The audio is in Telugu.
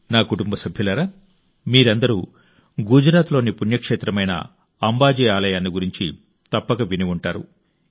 నా కుటుంబ సభ్యులారా మీరందరూ గుజరాత్లోని పుణ్యక్షేత్రమైన అంబాజీ ఆలయాన్ని గురించి తప్పక విని ఉంటారు